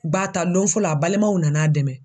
Ŋua ta lon fɔlɔ a balimaw nan'a dɛmɛ.